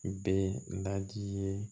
Bɛ n daji ye